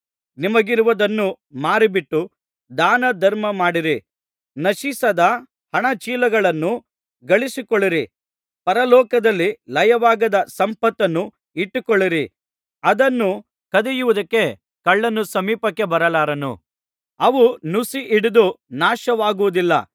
ನಿಮಗಿರುವುದನ್ನು ಮಾರಿಬಿಟ್ಟು ದಾನಧರ್ಮ ಮಾಡಿರಿ ನಶಿಸದ ಹಣಚೀಲಗಳನ್ನು ಗಳಿಸಿಕೊಳ್ಳಿರಿ ಪರಲೋಕದಲ್ಲಿ ಲಯವಾಗದ ಸಂಪತ್ತನ್ನು ಇಟ್ಟುಕೊಳ್ಳಿರಿ ಅದನ್ನು ಕದಿಯುವುದಕ್ಕೆ ಕಳ್ಳನು ಸಮೀಪಕ್ಕೆ ಬರಲಾರನು ಅವು ನುಸಿ ಹಿಡಿದು ನಾಶವಾಗುವುದಿಲ್ಲ